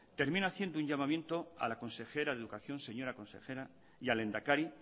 termino haciendo un llamamiento a la consejera de educación señora consejera y al lehendakari